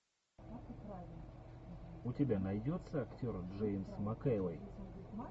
у тебя найдется актер джеймс макэвой